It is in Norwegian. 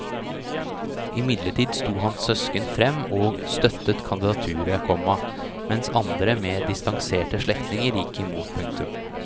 Imidlertid sto hans søsken fram og støttet kandidaturet, komma mens andre mer distanserte slektninger gikk imot. punktum